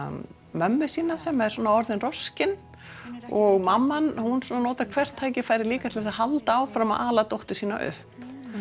mömmu sína sem er orðin roskin og mamman notar hvert tækifæri líka til að halda áfram að ala dóttur sína upp